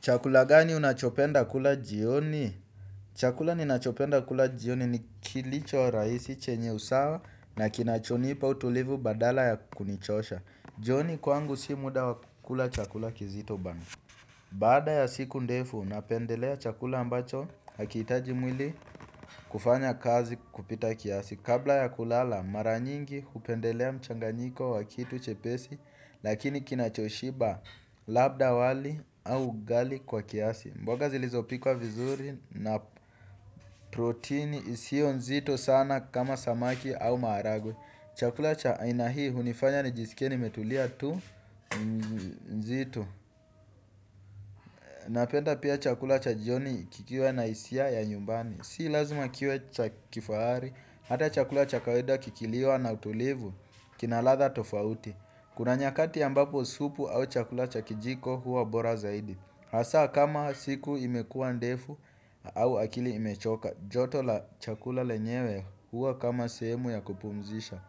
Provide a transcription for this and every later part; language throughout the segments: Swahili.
Chakula gani unachopenda kula jioni? Chakula ninachopenda kula jioni ni kilichorahisi chenye usawa na kinachonipa utulivu badala ya kunichosha. Jioni kwangu si muda wa kukula chakula kizito bana. Baada ya siku ndefu napendelea chakula ambacho hakihitaji mwili kufanya kazi kupita kiasi. Kabla ya kulala mara nyingi hupendelea mchanganyiko wa kitu chepesi lakini kinachoshiba, labda wali au ugali kwa kiasi. Mboga zilizopikwa vizuri na protini isio nzito sana kama samaki au maharagwe. Chakula cha aina hii hunifanya nijisikie nimetulia tu nzito. Napenda pia chakula cha jioni kikiwa na hisia ya nyumbani. Si lazima kiwe cha kifahari, hata chakula cha kawaida kikiliwa na utulivu, kina ladha tofauti. Kuna nyakati ambapo supu au chakula cha kijiko huwa bora zaidi hasaa kama siku imekuwa ndefu au akili imechoka, joto la chakula lenyewe huwa kama sehemu ya kupumzisha.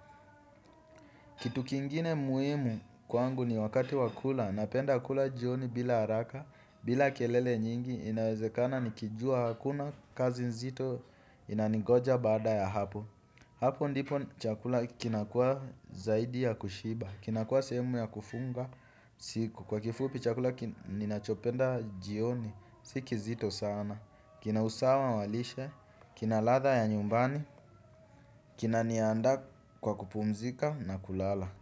Kitu kingine muhimu kwangu ni wakati wa kula, napenda kula jioni bila haraka, bila kelele nyingi. Inawezekana nikijua hakuna kazi nzito inaningoja baada ya hapo. Hapo ndipo chakula kinakuwa zaidi ya kushiba. Kinakuwa sehemu ya kufunga siku, kwa kifupi chakula ninachopenda jioni si kizito sana. Kina usawa wa lishe kina ladha ya nyumbani kinaniandaa kwa kupumzika na kulala.